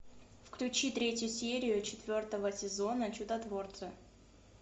включи третью серию четвертого сезона чудотворцы